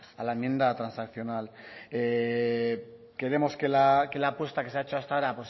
a la enmienda transaccional queremos que la apuesta que se ha hecho hasta ahora